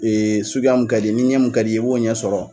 suguya min kadi ye, ni ɲɛ min kadi ye i b'o ɲɛ sɔrɔ